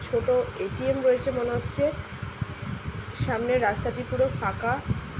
ছোট এ_টি_এম রয়েছে মনে হচ্ছে সামনে রাস্তাটি পুরো ফাঁকা।